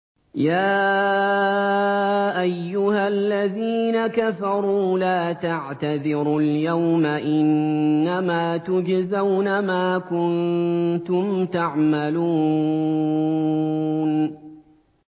يَا أَيُّهَا الَّذِينَ كَفَرُوا لَا تَعْتَذِرُوا الْيَوْمَ ۖ إِنَّمَا تُجْزَوْنَ مَا كُنتُمْ تَعْمَلُونَ